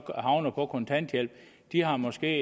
havnet på kontanthjælp de har måske